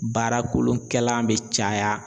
Baara kolonkɛlan bɛ caya